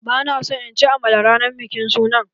Ba na son in ci amala ranar bikin sunan.